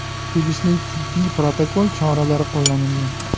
Tegishli tibbiy protokol choralari qo‘llanilgan.